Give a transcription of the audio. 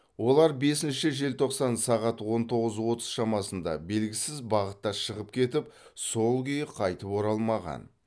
олар бесінші желтоқсан сағат он тоғыз отыз шамасында белгісіз бағытта шығып кетіп сол күйі қайтып оралмаған